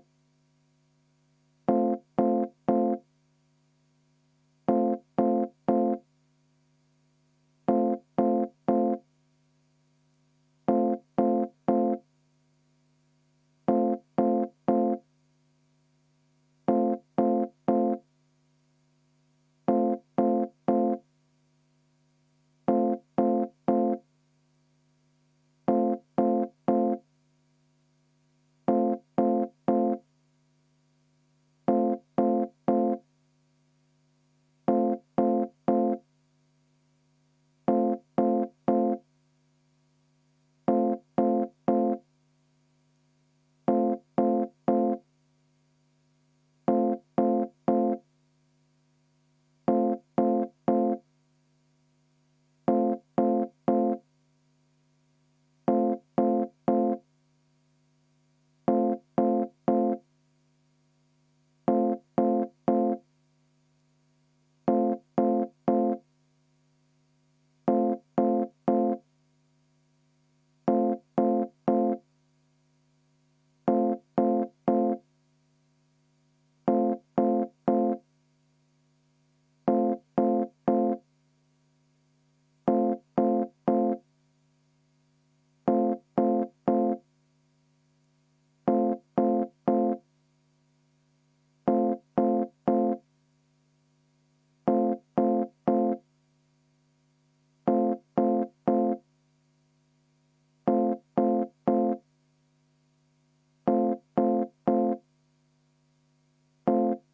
V a h e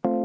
a e g